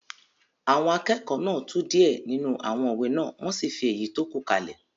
Àwọn akẹ́kọ̀ọ́ náà tú díẹ̀ nínú àwọn òwe náà wọ́n sì fi èyí tó kù kalẹ̀